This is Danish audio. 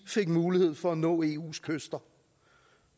fik mulighed for at nå eus kyster